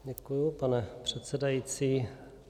Děkuji, pane předsedající.